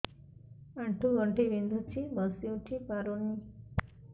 ଆଣ୍ଠୁ ଗଣ୍ଠି ବିନ୍ଧୁଛି ବସିଉଠି ପାରୁନି